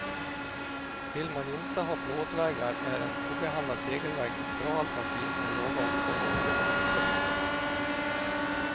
Vill man inte ha plåtväggar är en obehandlad tegelvägg ett bra alternativ med låga omkostnader. punkt